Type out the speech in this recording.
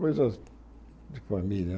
Coisas de família